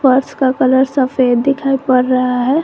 फर्श का कलर सफेद दिखाई पड़ रहा है।